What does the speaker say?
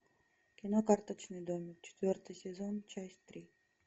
кино карточный домик четвертый сезон часть три